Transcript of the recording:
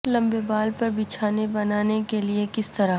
لمبے بال پر بچھانے بنانے کے لئے کس طرح